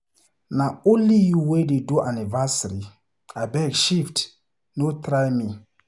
Na only you wey dey do anniversary. Abeg shift, no try me.